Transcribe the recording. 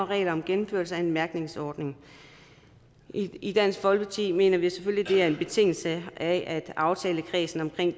regler om gennemførelse af en mærkningsordning i dansk folkeparti mener vi selvfølgelig det er en betingelse at aftalekredsen om